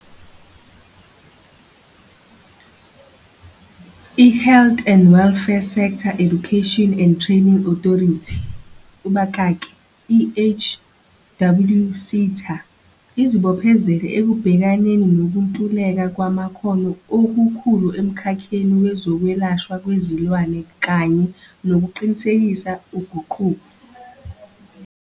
IHealth and Welfare Sector Education and Training Authority, kubakaki, i-HWSETA, izibophezele ekubhekaneni nokuntuleka kwamakhono okukhulu emkhakheni wezokwelashwa kwezilwane kanye nokuqinisekisa uguquko.